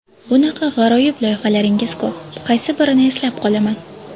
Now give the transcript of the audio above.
Bunaqa g‘aroyib loyihalaringiz ko‘p, qaysi birini eslab qolaman.